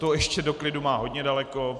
To ještě do klidu má hodně daleko.